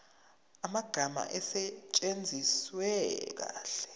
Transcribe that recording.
amagama asetshenziswe kahle